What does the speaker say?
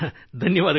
ಧನ್ಯವಾದಗಳು